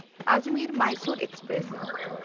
Ajmer-Mysore express